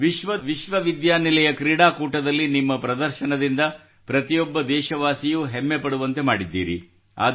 ವಿಶ್ವ ವಿಶ್ವವಿದ್ಯಾನಿಲಯ ಕ್ರೀಡಾಕೂಟದಲ್ಲಿ ನಿಮ್ಮ ಪ್ರದರ್ಶನದಿಂದ ಪ್ರತಿಯೊಬ್ಬ ದೇಶವಾಸಿಯೂ ಹೆಮ್ಮೆಪಡುವಂತೆ ಮಾಡಿದ್ದೀರಿ